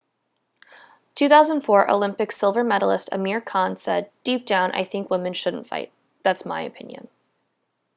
2004 olympic silver medallist amir khan said deep down i think women shouldn't fight that's my opinion